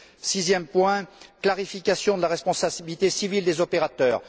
Sixième point, la clarification de la responsabilité civile des opérateurs.